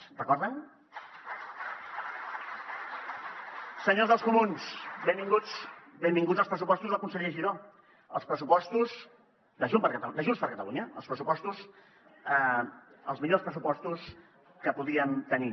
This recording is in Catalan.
ho recorden senyors dels comuns benvinguts benvinguts als pressupostos del conseller giró els pressupostos de junts per catalunya els millors pressupostos que podíem tenir